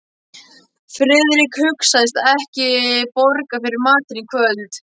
Friðrik hugðist ekki borga fyrir matinn í kvöld.